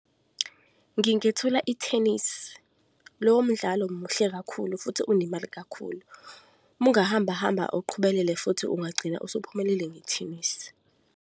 Ngingethula i-tennis, lowo mdlalo muhle kakhulu, futhi unemali kakhulu. Umu ngahambahamba uqhubelele futhi ungagcina usuphumelele nge-tennis.